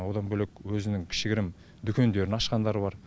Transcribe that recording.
одан бөлек өзінің кішігірім дүкендерін ашқандар бар